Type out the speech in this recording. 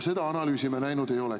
Seda analüüsi me näinud ei ole.